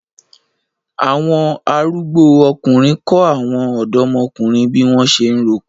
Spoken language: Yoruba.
Awon arugbo ọkunrin ko awọn ọdọmokunrin bi wọn ṣe ń roko